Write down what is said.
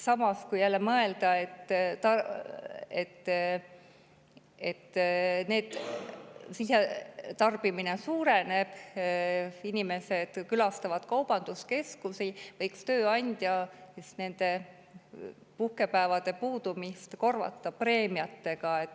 Samas, kui mõelda, et sisetarbimine suureneb ja inimesed külastavad kaubanduskeskusi, võiks tööandja selliste puhkepäevade puudumist korvata preemiatega.